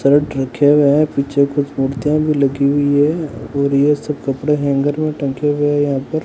shirt रखे हुए है पीछे कुछ मूर्तियां भी लगी हुई है और ये सब कपड़े हैंगर में टंगे हुए हैं यहां पर--